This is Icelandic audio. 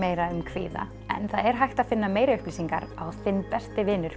kvíða en það er hægt að finna meiri upplýsingar á